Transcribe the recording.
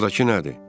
Oradakı nədir?